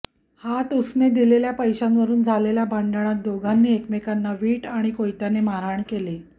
हातउसने दिलेल्या पैशांवरून झालेल्या भांडणात दोघांनी एकमेकांना वीट आणि कोयत्याने मारहाण केली